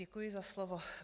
Děkuji za slovo.